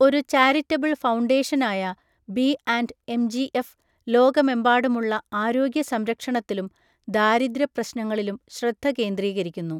ഒരു ചാരിറ്റബിൾ ഫൗണ്ടേഷനായ B and MGF ലോകമെമ്പാടുമുള്ള ആരോഗ്യ സംരക്ഷണത്തിലും ദാരിദ്ര്യ പ്രശ്‌നങ്ങളിലും ശ്രദ്ധ കേന്ദ്രീകരിക്കുന്നു.